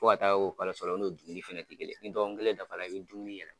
Fo ka taa o kalo sɔlɔ o n'o dumuni fɛnɛ tɛ kelen ni kalo kelen dafa la i bɛ dumuni yɛlɛ